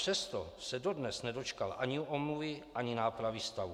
Přesto se dodnes nedočkal ani omluvy ani nápravy stavu.